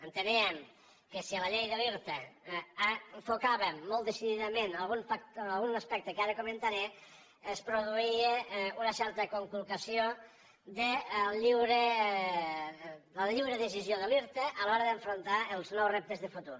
enteníem que si a la llei de l’irta enfocàvem molt decididament algun aspecte que ara comentaré es produïa una certa conculcació de la lliure decisió de l’irta a l’hora d’afrontar els nous reptes de futur